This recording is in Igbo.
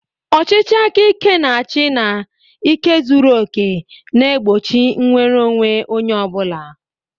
Ọchịchị aka ike na-achị na ike zuru oke na-egbochi nnwere onwe onye ọ bụla.